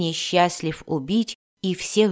несчастлив убить и всех